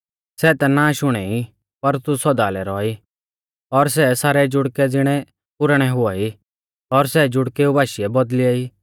सै ता नाश हुणै ई पर तू सौदा लै रौआ ई और सै सारै जुड़कै ज़िणै पुराणै हुआई